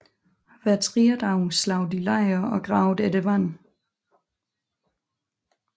Hver tredje dag slog de lejr og gravede efter vand